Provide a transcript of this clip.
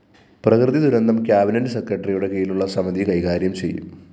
പ്രകൃതി ദുരന്തം കാബിനറ്റ്‌ സെക്രട്ടറിയുടെ കീഴിലുള്ള സമതി കൈകാര്യം ചെയ്യും